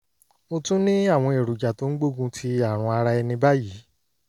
mo tún ní àwọn èròjà tó ń gbógun ti àrùn ara ẹni báyìí